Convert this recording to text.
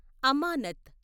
అమానత్